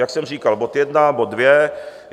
Jak jsem říkal, bod jedna, bod dvě.